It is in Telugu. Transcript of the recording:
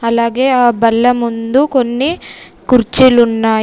అలాగే ఆ బల్ల ముందు కొన్ని కుర్చీలున్నాయి.